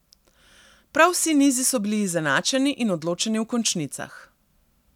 Prav vsi nizi so bili izenačeni in odločeni v končnicah.